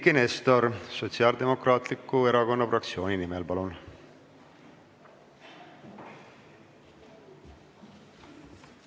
Eiki Nestor Sotsiaaldemokraatliku Erakonna fraktsiooni nimel, palun!